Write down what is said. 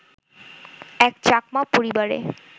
এক চাকমা পরিবারে